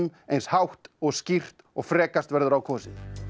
eins hátt og skýrt og frekast verður á kosið